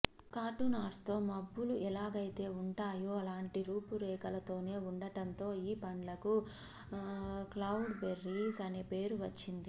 cartoon ఆర్ట్స్లో మబ్బులు ఎలాగైతే ఉంటాయో అలాంటి రూపురేఖలతోనే ఉండటంతో ఈ పండ్లకు క్లౌడ్ బెర్రీస్ అనే పేరు వచ్చింది